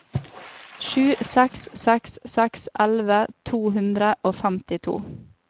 sju seks seks seks elleve to hundre og femtito